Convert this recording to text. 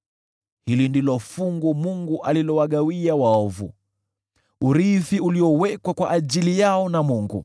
Hili ndilo fungu Mungu alilowagawia waovu, urithi uliowekwa kwa ajili yao na Mungu.”